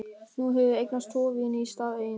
Nú hefurðu eignast tvo vini í stað eins.